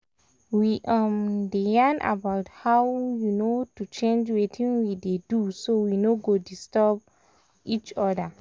we um dey yarn about how um to change wetin we dey do so we no go disturb um each other.